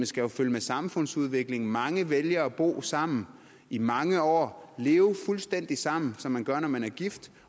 skal følge med samfundsudviklingen og mange vælger at bo sammen i mange år leve fuldstændig sammen som man gør når man er gift